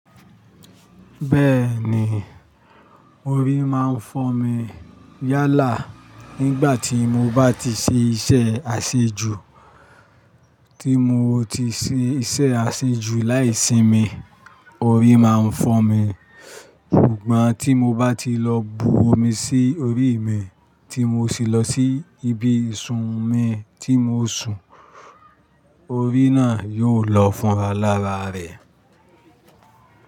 Bẹ́ẹ̀ ni, orí máa ń fọ́ mi yálà nígbà tí mo bá ti ṣe iṣẹ́ àṣejù tí mo ti ṣe iṣẹ́ àṣejù láì sinmi, orí máa ń fọ́ mi, ṣùgbọ́n tí mo bá ti lọ bu omi sí orí mi tí mo sì lọ sí ibi ìsùn mi tí mo sùn, orí náà yóò lọ fún alára rẹ̀